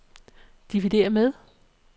dividér med